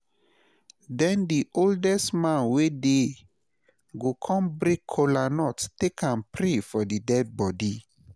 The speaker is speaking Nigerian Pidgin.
den di oldest man wey dey go kon break kolanut take am pray for dead bodi